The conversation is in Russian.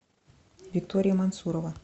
виктория мансурова